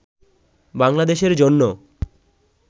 বাংলাদেশের জন্য